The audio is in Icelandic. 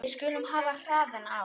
Við skulum hafa hraðann á.